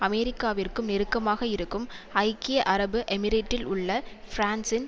அமெரிக்காவிற்கும் நெருக்கமாக இருக்கும் ஐக்கிய அரபு எமிரேட்டில் உள்ள பிரான்சின்